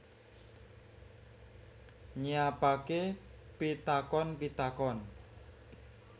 Nyiapake pitakon pitakon